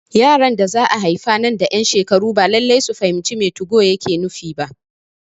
Yaran da za'a haifa nan da ƴan shekaru ba Lallai su fahimci me 2go yake nufi ba